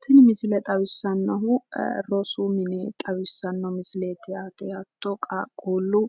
Tini misile xawissannohu rosu mine xawissanno misileeti yaate. Hatto qaaqquullu